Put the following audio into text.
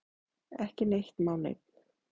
Ekki neitt má neinn!